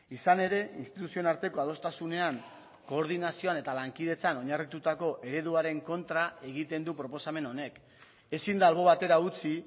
izan ere instituzioen arteko adostasunean koordinazioan eta lankidetzan oinarritutako ereduaren kontra egiten du proposamen honek ezin da albo batera utzi